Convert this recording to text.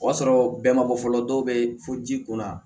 O y'a sɔrɔ bɛɛ ma bɔ fɔlɔ dɔw bɛ fo ji kun na